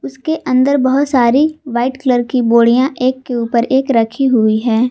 इसके अंदर बहोत सारी व्हाइट कलर की बोरिया एक के ऊपर एक रखी हुई है।